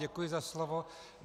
Děkuji za slovo.